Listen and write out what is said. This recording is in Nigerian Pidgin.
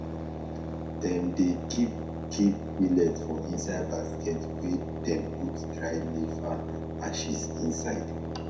dem dey keep keep millet for inside basket wey dem put dry leaf and ashes inside